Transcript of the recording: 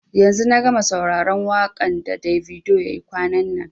yanzu na gama sauraron wakan da Davido ya yi kwanan nan.